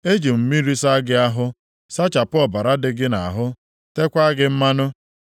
“ ‘Eji m mmiri saa gị ahụ, sachapụ ọbara dị gị nʼahụ, teekwa gị mmanụ.